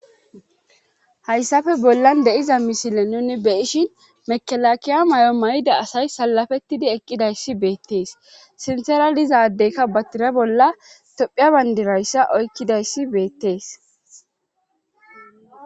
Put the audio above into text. hayssafe bollan deiza misile nuni beyishin mekelakiya may7o may7da asay salafettidi eqqidayssi beettees sinteradizadekka batira bolla tophia bayndirayssa oykkidayssi beettees